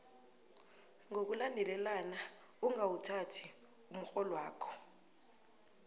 ngokulandelana ungawuthathi umrholwakho